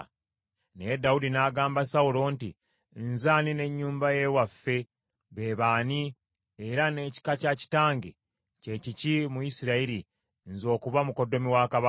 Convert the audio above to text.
Naye Dawudi n’agamba Sawulo nti, “Nze ani, n’ennyumba ye waffe be baani, era n’ekika kya kitange kye kiki mu Isirayiri, nze okuba mukoddomi wa kabaka?”